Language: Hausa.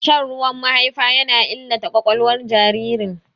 Shan ruwan mahaifa yana illata ƙwaƙwalwar jinjirin.